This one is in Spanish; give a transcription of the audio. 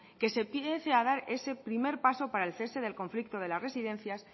que se empiece a dar ese primer paso para el cese del conflicto de las residencias